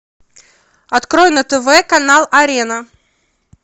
открой на тв канал арена